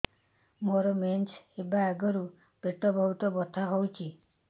ମୋର ମେନ୍ସେସ ହବା ଆଗରୁ ପେଟ ବହୁତ ବଥା ହଉଚି